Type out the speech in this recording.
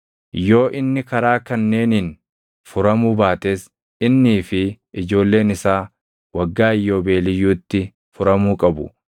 “ ‘Yoo inni karaa kanneeniin furamuu baates innii fi ijoolleen isaa Waggaa Iyyoobeeliyyuutti furamuu qabu;